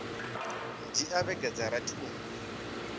dzhia vhege dza rathi u